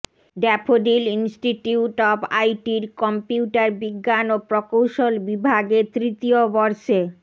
daffodil institute of আইটির কম্পিউটারবিজ্ঞান ও প্রকৌশল বিভাগে তৃতীয় বর্ষে